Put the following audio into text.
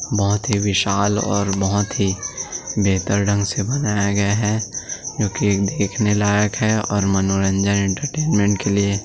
बहुत ही विशाल और बहुत ही बेहतर ढंग से बनाया गया हैक्योंकि देखने लायक हैऔर मनोरंजन एंटरटेनमेंट के लिए--